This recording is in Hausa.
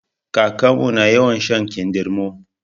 Kakarmu na yawan shan kindirmo